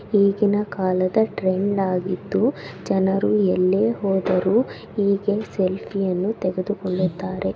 ಈಗೀನ ಕಾಲದ ಟ್ರೆಂಡ್‌ ಆಗಿದ್ದು ಜನರು ಎಲ್ಲೇ ಹೋದರು ಹೀಗೆ ಸೆಲ್ಫಿ ಯನ್ನು ತೆಗೆದುಕೊಳ್ಳುತ್ತಾರೆ.